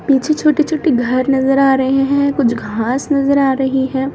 पीछे छोटी-छोटी घर नजर आ रहे है कुछ घास नजर आ रही है।